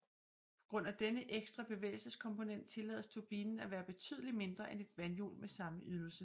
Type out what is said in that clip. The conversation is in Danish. På grund af denne ekstra bevægelseskomponent tillades turbinen at være betydelig mindre end et vandhjul med samme ydelse